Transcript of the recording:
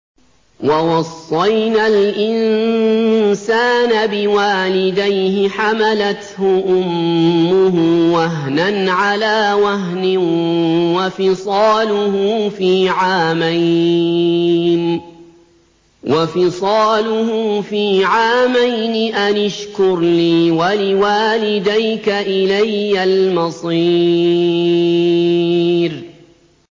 وَوَصَّيْنَا الْإِنسَانَ بِوَالِدَيْهِ حَمَلَتْهُ أُمُّهُ وَهْنًا عَلَىٰ وَهْنٍ وَفِصَالُهُ فِي عَامَيْنِ أَنِ اشْكُرْ لِي وَلِوَالِدَيْكَ إِلَيَّ الْمَصِيرُ